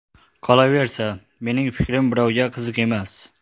Qolaversa, mening fikrim birovga qiziq emas.